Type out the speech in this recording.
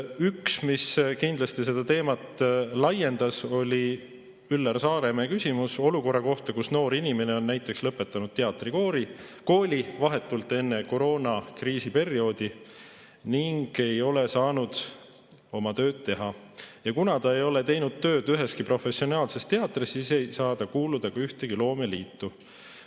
Üks, mis kindlasti seda teemat laiendas, oli Üllar Saaremäe küsimus olukorra kohta, kus noor inimene on näiteks lõpetanud teatrikooli vahetult enne koroonakriisi perioodi ning ei ole saanud oma tööd teha, ja kuna ta ei ole teinud tööd üheski professionaalses teatris, siis ei saa ta kuuluda ka ühtegi loomeliitu.